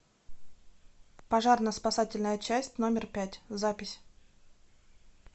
пожарно спасательная часть номер пять запись